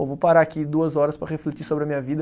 Ou vou parar aqui duas horas para refletir sobre a minha vida.